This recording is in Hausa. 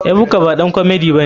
Ebuka baɗan komedi bane.